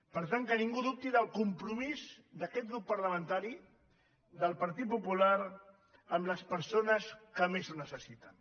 per tant que ningú dubti del compromís d’aquest grup parlamentari del partit popular amb les persones que més ho necessiten